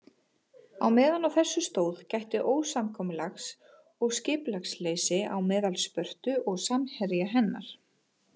Á meðan á þessu stóð gætti ósamkomulags og skipulagsleysis á meðal Spörtu og samherja hennar.